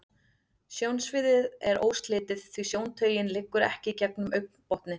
Sjónsviðið er óslitið, því sjóntaugin liggur ekki gegnum augnbotninn.